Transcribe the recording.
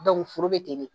foro be ten de